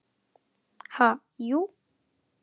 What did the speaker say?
Ha, jú.